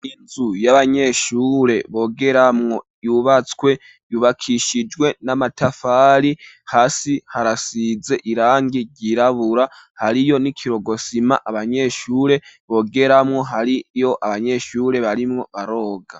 Inzu y'abanyeshure bogeramwo yubatswe Yubakishijwe n'amatafari hasi harasize irangi ryirabura hariyo n'ikirogosima abanyeshure bogeramwo hariyo abanyeshure barimwo baroga.